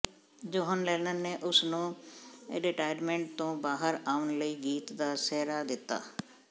John Lennon ਨੇ ਉਸ ਨੂੰ ਰਿਟਾਇਰਮੈਂਟ ਤੋਂ ਬਾਹਰ ਆਉਣ ਲਈ ਗੀਤ ਦਾ ਸਿਹਰਾ ਦਿੱਤਾ